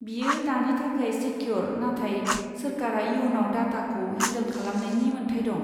बेयो दानि थाखाय सेकिय'र, नाथाय सोरखारा इयुनाव डाटाखौ हेनदोल खालामनायनि मोन्थाइ दं।